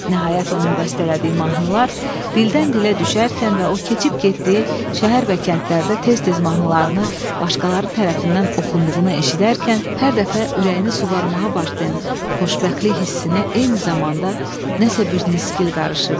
Nəhayət onun bəstələdiyi mahnılar dildən dilə düşərkən və o keçib getdiyi şəhər və kəndlərdə tez-tez mahnılarını başqaları tərəfindən oxunduğunu eşidərkən, hər dəfə ürəyini suvarmağa başlayan xoşbəxtlik hissinə eyni zamanda nəsə bir nisgil qarışırdı.